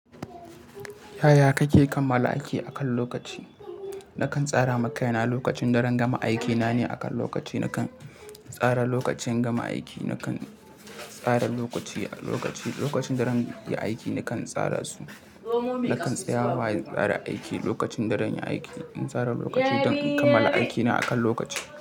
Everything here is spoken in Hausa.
Yaya kake kammala aiki akan lokaci? Nakan tsara makai na lokacin daran gama aiki na ne akan lokaci. Nakan tsara lokacin gama aiki, nakan tsara lokaci, lokaci, lokacin daran aiki nakan tsara su. Nakan tsaya wa in tsara aiki lokacin daranyi aiki. In tsara lokaci don in kammala aiki na akan lokaci.